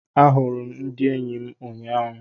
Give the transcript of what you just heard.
A hụrụ m ndị eyi m ụnyaahụ.